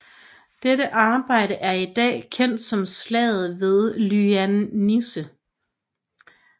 Dette angreb er i dag kendt som slaget ved Lyndanisse